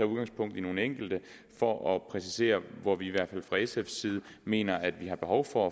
udgangspunkt i nogle enkelte for at præcisere hvor vi i hvert fald fra sf’s side mener at vi har behov for